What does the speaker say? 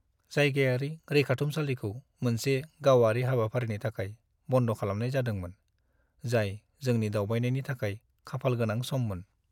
जायगायारि रैखाथुमसालिखौ मोनसे गावारि हाबाफारिनि थाखाय बन्द खालामनाय जादोंमोन, जाय जोंनि दावबायनायनि थाखाय खाफालगोनां सममोन।